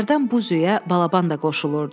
Hərdən bu züyə balaban da qoşulurdu.